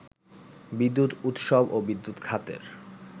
বিদ্যুৎ উৎসব ও বিদ্যুৎ খাতের